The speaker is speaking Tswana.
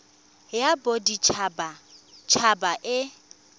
ya bodit habat haba e